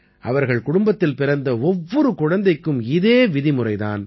அவர்கள் குடும்பத்தில் பிறந்த ஒவ்வொரு குழந்தைக்கும் இதே விதிமுறை தான்